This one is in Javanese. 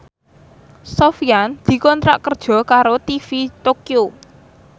Sofyan dikontrak kerja karo TV Tokyo